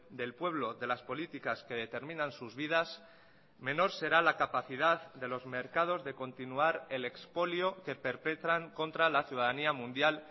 del pueblo de las políticas que determinan sus vidas menor será la capacidad de los mercados de continuar el expolio que perpetran contra la ciudadanía mundial